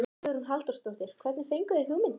Hugrún Halldórsdóttir: Hvernig fenguð þið hugmyndina?